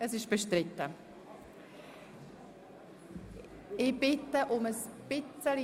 – Das ist der Fall, das Postulat ist bestritten.